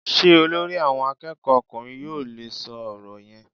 Sé Olórí àwọn akéèkó ọkùnrin yóò le é so òrò yen?